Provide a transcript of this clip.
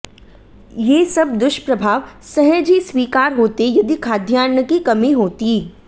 ये सब दुष्प्रभाव सहज ही स्वीकार होते यदि खाद्यान्न की कमी होती